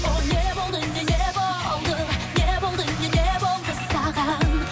ол не болды не не болды не болды не не болды саған